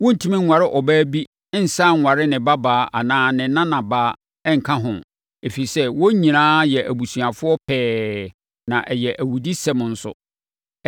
“ ‘Worentumi nware ɔbaa bi nsane nware ne babaa anaa ne nanabaa nka ho, ɛfiri sɛ, wɔn nyinaa yɛ abusuafoɔ pɛɛ na ɛyɛ awudisɛm nso.